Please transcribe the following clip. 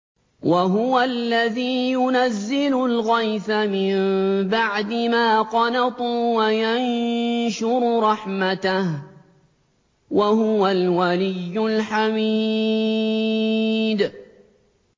وَهُوَ الَّذِي يُنَزِّلُ الْغَيْثَ مِن بَعْدِ مَا قَنَطُوا وَيَنشُرُ رَحْمَتَهُ ۚ وَهُوَ الْوَلِيُّ الْحَمِيدُ